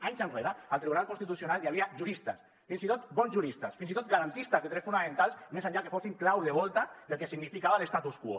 anys enrere al tribunal constitucional hi havia juristes fins i tot bons juristes fins i tot garantistes de drets fonamentals més enllà que fossin clau de volta del que significava l’statu quo